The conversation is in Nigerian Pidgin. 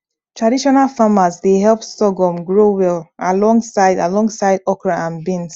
traditional farmers dey help sorghum grow well alongside alongside okra and beans